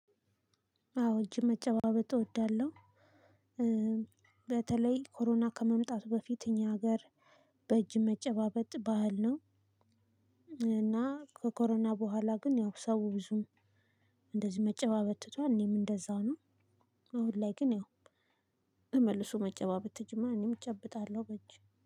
አዎ እጅ መጨባበጥ እወዳለሁ። በተለይ ኮሮና ከመምጣቱ በፊት እኛ ሀገር በእጅ መጨባበጥ ባህል ነው። እና ከኮሮና በኋላ ግን ያው ሰው ብዙም እንደዚህ መጨባበጥ ትቷል። እኔም እንደዛው ነው። አሁን ላይ ግን ያው ተመልሶ መጨባበጥ ተጀምሮአል እኔም እጨብጣለሁ። በእጅ